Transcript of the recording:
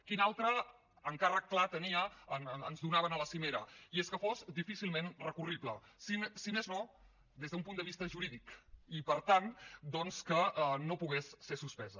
quin altre encàrrec clar tenia ens donaven a la cimera que fos difícilment recurrible si més no des d’un punt de vista jurídic i per tant doncs que no pogués ser suspesa